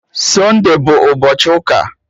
Sunde bụ ụbọchị ụka